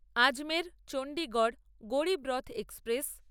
Ajmer Chandigarh Garib Rath express